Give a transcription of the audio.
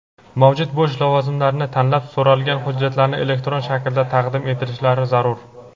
mavjud bo‘sh lavozimlarni tanlab so‘ralgan hujjatlarni elektron shaklda taqdim etishlari zarur.